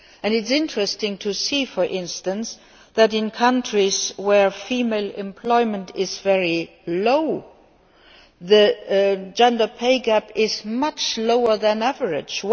It is interesting to see, for instance, that in countries where female employment is very low, the gender pay gap is much lower than average.